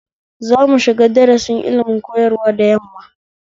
Za mushiga darasin ilimin koyarwa da yamma